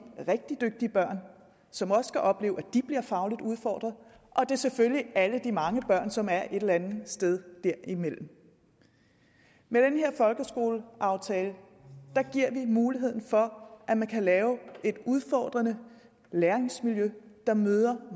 rigtig dygtige børn som også skal opleve at de bliver fagligt udfordret og det er selvfølgelig alle de mange børn som er et eller andet sted derimellem med den her folkeskoleaftale giver vi muligheden for at man kan lave et udfordrende læringsmiljø der møder